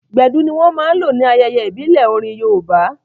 Gbedu ní wọ́n máa n lò ní ayẹyẹ ìbílẹ̀ orin yoòbá